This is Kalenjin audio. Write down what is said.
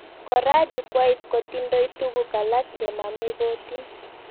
Kora jukwait kotindoi tuguk alak chemamegotin